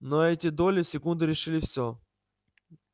но эти доли секунды решили всё